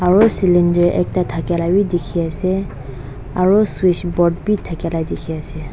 aru ceiling te ekta thaka laga bhi dekhi ase aru switch box bhi thaki laga dekhi ase.